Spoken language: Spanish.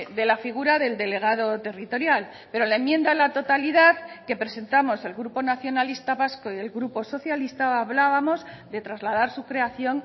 de la figura del delegado territorial pero la enmienda a la totalidad que presentamos el grupo nacionalista vasco y el grupo socialista hablábamos de trasladar su creación